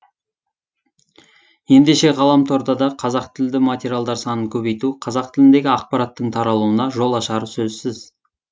ендеше ғаламторда да қазақ тілді материалдар санын көбейту қазақ тіліндегі ақпараттың таралуына жол ашары сөзсіз